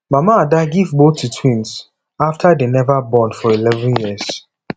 mama ada give both to twins after dey never born for eleven years